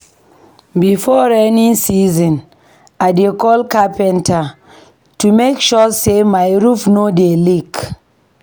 Before rainy season, I dey call carpenter to make sure sey my roof no dey leak.